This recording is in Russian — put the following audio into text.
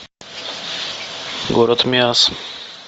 город миасс